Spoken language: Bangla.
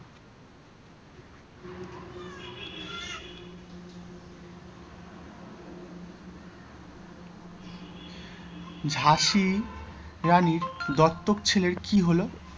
ঝাঁসির রানীর দপ্তক ছেলের কি হল?